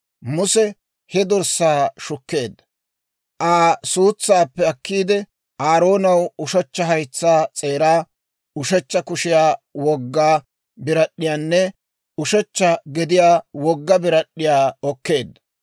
Muse he dorssaa shukkeedda; Aa suutsaappe akkiide, Aaroonaw ushechcha haytsaa s'eeraa, ushechcha kushiyaa wogga birad'd'iyaanne, ushechcha gediyaa wogga birad'd'iyaa okkeedda.